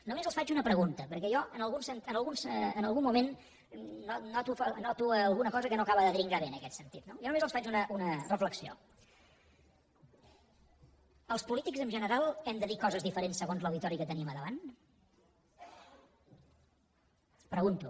només els faig una pregunta perquè jo en algun moment noto alguna cosa que no acaba de dringar bé en aquest sentit no jo només els faig una reflexió els polítics en general hem de dir coses diferents segons l’auditori que tenim a davant ho pregunto